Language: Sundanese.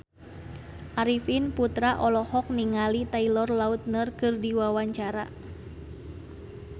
Arifin Putra olohok ningali Taylor Lautner keur diwawancara